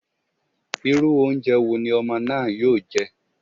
Irú oúnjẹ wo ni ọmọ náà yóò jẹ́?